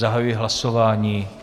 Zahajuji hlasování.